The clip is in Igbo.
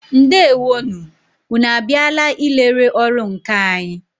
Ndewo nụ! Ụnụ a bịala ị lere ọrụ nkà anyị?